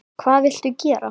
Hvað viltu gera?